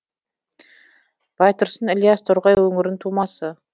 байтұрсын ілияс торғай өңірінің тумасы